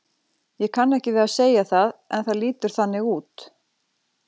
Ég kann ekki við að segja það en það lítur þannig út.